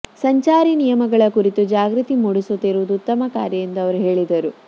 ಸಂಚಾರಿ ನಿಯಮಗಳ ಕುರಿತು ಜಾಗೃತಿ ಮೂಡಿಸುತ್ತಿರುವುದು ಉತ್ತಮ ಕಾರ್ಯ ಎಂದು ಅವರು ಹೇಳಿದರು